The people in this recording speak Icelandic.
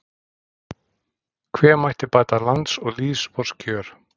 hve mætti bæta lands og lýðs vors kjör